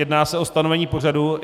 Jedná se o stanovení pořadu.